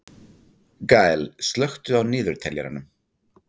Gael, slökktu á niðurteljaranum.